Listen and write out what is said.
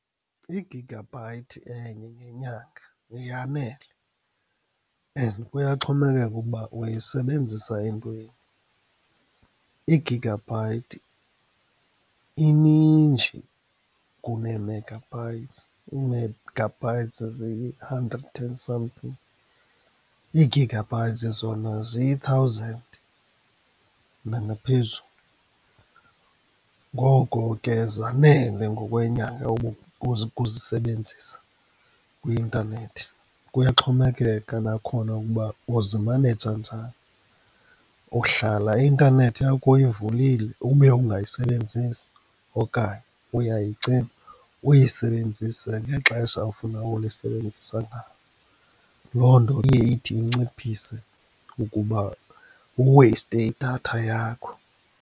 I-gigabyte enye ngenyanga yanele and kuyaxhomekeka ukuba uyisebenzisa entweni. I-gigabyte ininji kunee-megabytes, ii-megabytes ziyi-hundred and something, ii-gigabytes zona ziyi-thousand nangaphezulu, ngoko ke zanele ngokwenyanga ukuzisebenzisa kwi-intanethi. Kuyaxhomekeka nakhona ukuba uzimaneja njani, uhlala i-intanethi yakho uyivulile ube ungayisebenzisi, okanye uyayicima uyisebenzise ngexesha ofuna ulisebenzisa ngalo. Loo nto iye ithi inciphise ukuba uweyiste idatha yakho.